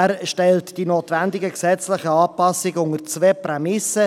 – Er stellt die notwendigen gesetzlichen Anpassungen unter zwei Prämissen: